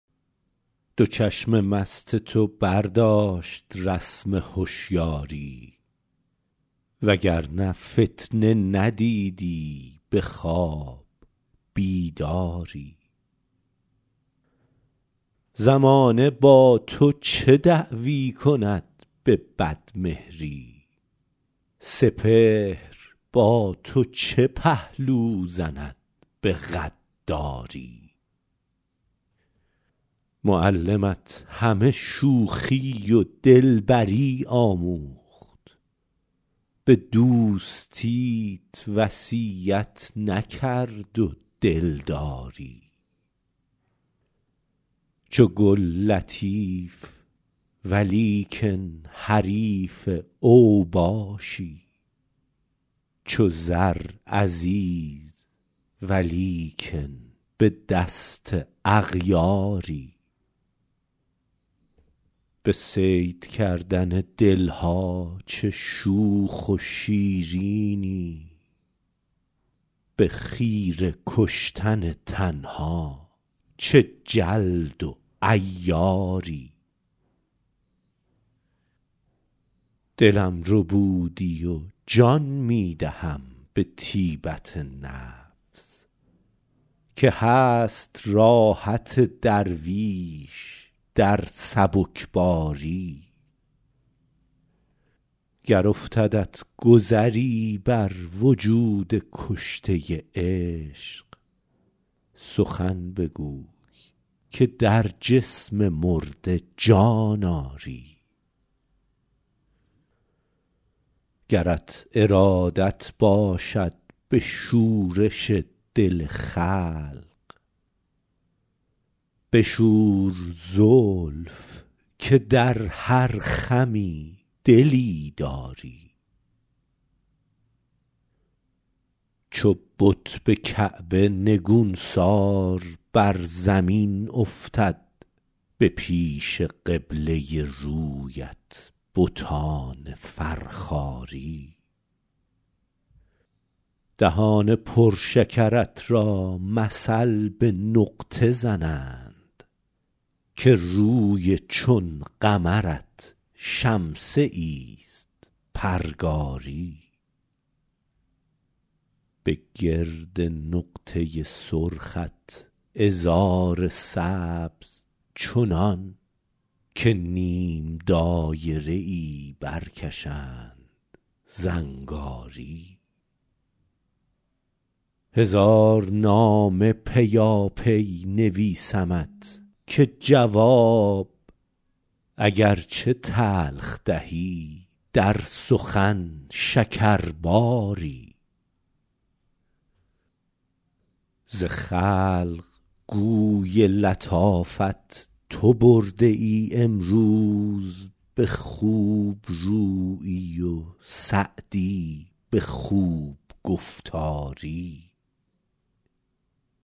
دو چشم مست تو برداشت رسم هشیاری و گر نه فتنه ندیدی به خواب بیداری زمانه با تو چه دعوی کند به بدمهری سپهر با تو چه پهلو زند به غداری معلمت همه شوخی و دلبری آموخت به دوستیت وصیت نکرد و دلداری چو گل لطیف ولیکن حریف اوباشی چو زر عزیز ولیکن به دست اغیاری به صید کردن دل ها چه شوخ و شیرینی به خیره کشتن تن ها چه جلد و عیاری دلم ربودی و جان می دهم به طیبت نفس که هست راحت درویش در سبکباری گر افتدت گذری بر وجود کشته عشق سخن بگوی که در جسم مرده جان آری گرت ارادت باشد به شورش دل خلق بشور زلف که در هر خمی دلی داری چو بت به کعبه نگونسار بر زمین افتد به پیش قبله رویت بتان فرخاری دهان پر شکرت را مثل به نقطه زنند که روی چون قمرت شمسه ایست پرگاری به گرد نقطه سرخت عذار سبز چنان که نیم دایره ای برکشند زنگاری هزار نامه پیاپی نویسمت که جواب اگر چه تلخ دهی در سخن شکرباری ز خلق گوی لطافت تو برده ای امروز به خوب رویی و سعدی به خوب گفتاری